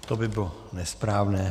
To by bylo nesprávné.